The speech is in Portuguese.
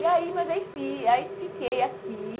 E aí, mas enfim, aí fiquei aqui.